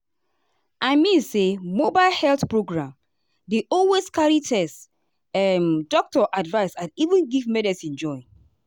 i mean say mobile health program dey always carry test um doctor advice and even give medicine join.